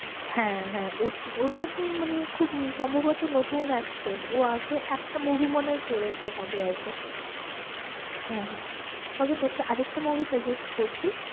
হ্যাঁ, হ্যাঁ ওটা তো মানে খুব সম্ভবত নতুন actress ও আগে একটা movie মনে হয় করেছে হবে হয়তো হ্যাঁ, তবে তোকে আর একটা movie suggest করছি।